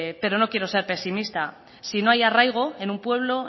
pero no quiero ser pesimista si no hay arraigo en un pueblo